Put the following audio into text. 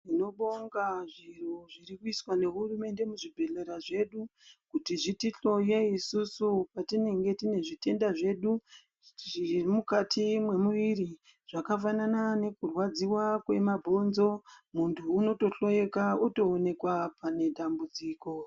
Tinobonga zviro zviri kuiswa nehurumende muzvi bhehlera zvedu kuti zviti hloye isusu patinenge tine zvitenda zvedu zviri mukati mwemuviri zvakafanana nekurwadziwa kwemabhonzo. Muntu unohloyeka otooneka pane dambudziko.